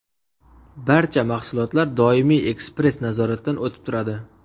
Barcha mahsulotlar doimiy ekspress-nazoratdan o‘tib turadi.